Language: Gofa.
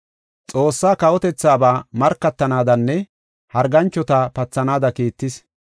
Xoossaa kawotethaaba markatanaadanne harganchota pathanaada kiittis.